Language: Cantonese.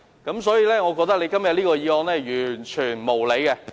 因此，我認為他今天這項議案是完全無理的。